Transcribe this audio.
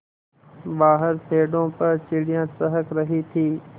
बाहर पेड़ों पर चिड़ियाँ चहक रही थीं